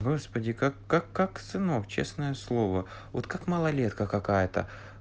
господи как как как сынок честное слово вот как малолетка какая-то